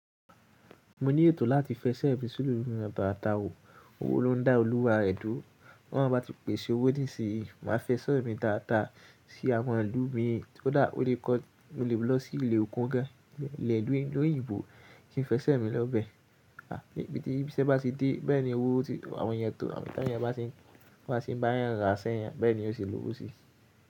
Mo ní ètò láti fẹsẹ́ mi sinú ilu ata ata òwò. Owó ló ń dá olúwa rẹ dúró. B'oloun bá ti pèsè owó nísìnyí, màá fẹsẹ́ mi daadaa sí àwọn ilu míràn. Kódà ó lè kọ, mo lè lọ sí ìlè òkún gan, ilẹ̀ ìlú òyìnbó kí n fẹsẹ́ mi lọ́bẹ̀. Àbí ìpè tí ìbísẹ́ bá ti dé, bẹ́ẹ̀ ni owó ti àwọn ènìyàn tò. Tawọn ènìyàn bá tí ń bá ń bá yàn ra sẹ́yàn, bẹ́ẹ̀ ni ó ṣe lòwó si.